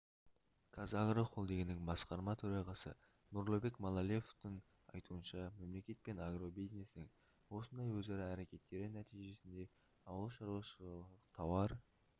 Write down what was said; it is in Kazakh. қазагро холдингінің басқарма төрағасы нұрлыбек малеловтің айтуынша мемлекет пен агробизнестің осындай өзара әрекеттері нәтижесінде ауылшаруашылық тауар